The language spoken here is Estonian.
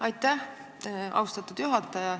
Aitäh, austatud juhataja!